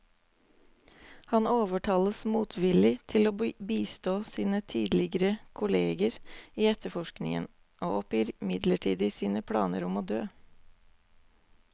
Han overtales motvillig til å bistå sine tidligere kolleger i etterforskningen, og oppgir midlertidig sine planer om å dø.